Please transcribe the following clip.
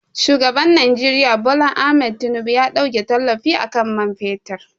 Shugaban Nijeriya Bola Ahmed Tinubu ya ɗauke tallafi akan man fetur